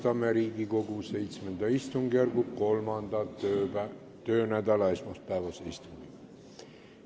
Alustame Riigikogu VII istungjärgu 3. töönädala esmaspäevast istungit.